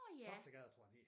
Toftegade tror jeg den hed